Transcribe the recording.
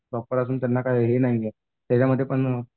proper त्यांना अजून काय हे नाहीये त्याच्यामधून